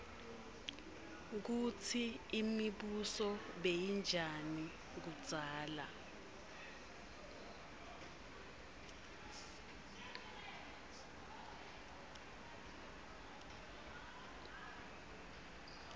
kutsi imibuso beyinjani kudzala